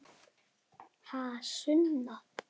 Ha, Sunna?